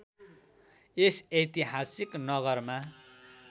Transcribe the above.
यस ऐतिहासिक नगरमा